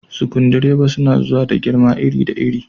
Sukudireba suna zuwa da girma da iri iri.